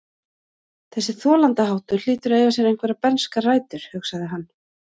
Þessi þolandaháttur hlýtur að eiga sér einhverjar bernskar rætur, hugsaði hann.